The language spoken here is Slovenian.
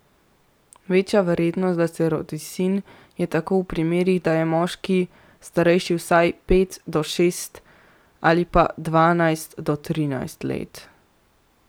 Večja verjetnost, da se rodi sin, je tako v primerih, da je moški starejši vsaj pet do šest ali pa dvanajst do trinajst let.